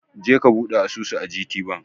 Je ka buɗe asusu a gtbank!